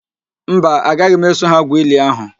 Mba, agaghi m eso ha gwu ili ahụ